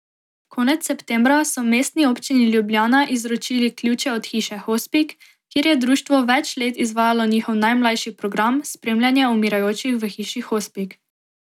Konec septembra so Mestni občini Ljubljana izročili ključe od hiše Hospic, kjer je društvo več let izvajalo njihov najmlajši program, spremljanje umirajočih v hiši hospic.